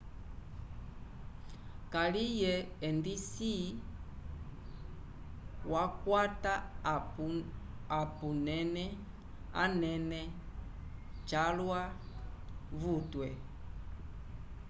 kaliye endisi wakwata apunene anene calwa vutwe